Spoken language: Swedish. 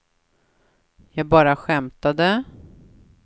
jag bara skämtade